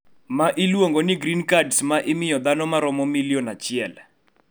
Ma iluongo ni Green Cards ma imiyo dhano ma romo milion achiel